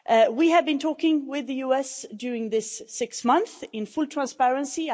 We have been talking with the US during this six months in full transparency.